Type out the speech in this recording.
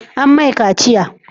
An mai kaciya?